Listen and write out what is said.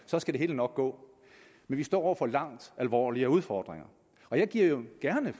så skal det hele nok gå men vi står over for langt alvorligere udfordringer og jeg giver gerne